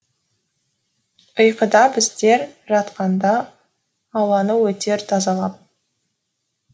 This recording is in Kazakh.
ұйқыда біздер жатқанда ауланы өтер тазалап